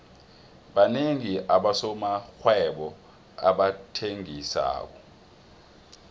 banengi abosomarhwebo abathengisako